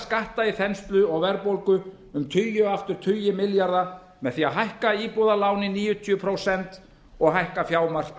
skatta í þenslu og verðbólgu um tugi og aftur tugi milljarða með því að hækka íbúðalán í níutíu prósent og hækka